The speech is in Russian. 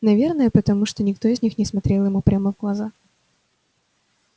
наверное потому что никто из них не смотрел ему прямо в глаза